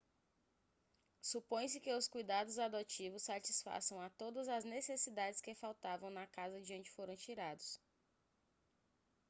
supõe-se que os cuidados adotivos satisfaçam a todas as necessidades que faltavam na casa de onde foram tirados